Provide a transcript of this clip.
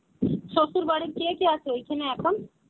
শ্বসুর বাড়ি কে কে আছে ঐখানে এখন?